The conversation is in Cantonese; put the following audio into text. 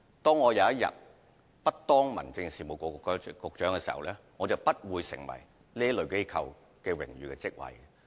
當有一天我不再是民政事務局局長，我便不會再擔任這類機構的榮譽職位。